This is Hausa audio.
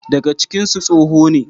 Dagacinsu tsoho ne.